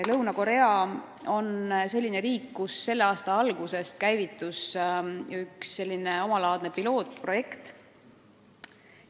Lõuna-Korea on riik, kus selle aasta alguses käivitus üks omalaadne pilootprojekt.